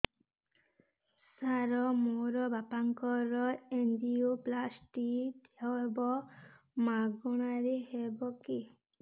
ସାର ମୋର ବାପାଙ୍କର ଏନଜିଓପ୍ଳାସଟି ହେବ ମାଗଣା ରେ ହେବ କି